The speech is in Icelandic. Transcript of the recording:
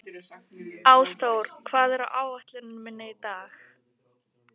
Ásþór, hvað er á áætluninni minni í dag?